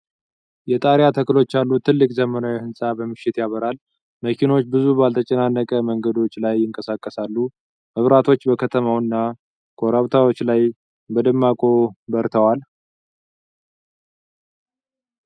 የጣሪያ ተክሎች ያሉት ትልቅ ዘመናዊ ሕንፃ በምሽት ያበራል። መኪኖች ብዙ ባልተጨናነቁ መንገዶች ላይ ይንቀሳቀሳሉ። መብራቶች በከተማው እና ኮረብታዎች ላይ በደማቁ በርተዋል።